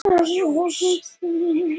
Helgi leggur diskinn í vaskinn.